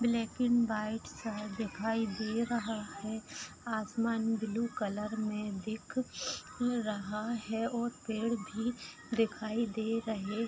Black and white शहर दिखाई दे रहा है आसमान ब्लू कलर में देख रहा है और पेड़ भी दिखाई दे रहें ।